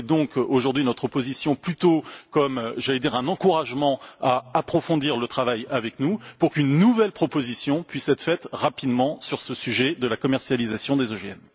Et prenez donc notre position plutôt comme, j'allais dire, un encouragement à approfondir le travail avec nous, pour qu'une nouvelle proposition puisse être faite rapidement sur ce sujet de la commercialisation des OGM.